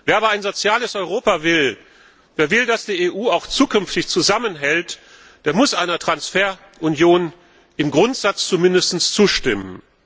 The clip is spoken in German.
Wer aber ein soziales Europa will, wer will, dass die EU auch zukünftig zusammenhält, der muss einer Transferunion zumindest im Grundsatz zustimmen.